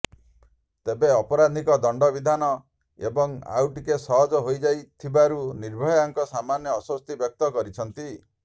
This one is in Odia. ତେବେ ଅପରାଧୀଙ୍କ ଦଣ୍ଡ ବିଧାନ ଏବେ ଆଉଟିକେ ସହଜ ହୋଇଯାଇଥିବାରୁ ନିର୍ଭୟାଭଙ୍କ ସାମାନ୍ୟ ଆଶ୍ୱସ୍ତି ବ୍ୟକ୍ତ କରିଛନ୍ତି